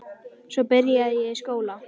Svo byrjaði ég í skóla.